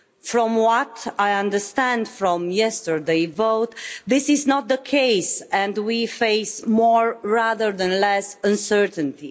From what I understand from yesterday's vote, this is not the case and we face more rather than less uncertainty.